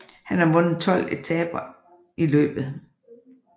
Han har vundet 12 etaper i løbet